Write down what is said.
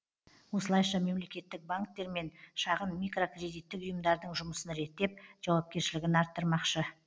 осылайша мемлекеттік банктер мен шағын микрокредиттік ұйымдардың жұмысын реттеп жауапкершілігін арттырмақшы